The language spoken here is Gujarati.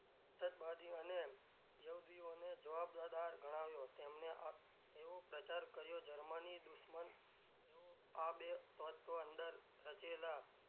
અને જવાબદાર ગણાવ્યો તેમને એવો પ્રચાર કર્યો જર્મની દુશ્મન એવો આ બે તત્વો અંદર રચેલાં,